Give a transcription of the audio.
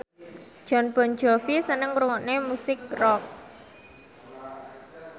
Jon Bon Jovi seneng ngrungokne musik rock